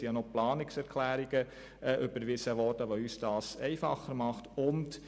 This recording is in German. Es wurden auch Planungserklärungen überwiesen, die uns das einfacher machen.